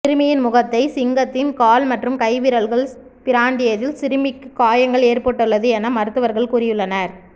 சிறுமியின் முகத்தை சிங்கத்தின் கால் மற்றும் கை விரல்கள் பிராண்டியதில் சிறுமிக்கு காயங்கள் ஏற்பட்டுள்ளது என மருத்துவர்கள் கூறியுள்ளனர்